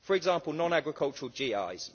For example, non agricultural GIs.